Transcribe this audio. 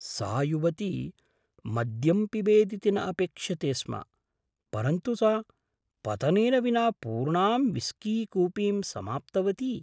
सा युवती मद्यं पिबेदिति न अपेक्ष्यते स्म, परन्तु सा पतनेन विना पूर्णां विस्कीकूपीं समाप्तवती।